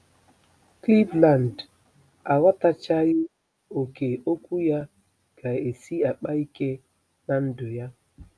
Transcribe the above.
Cleveland aghọtachaghị ókè Okwu ya ga-esi akpa ike ná ndụ ya.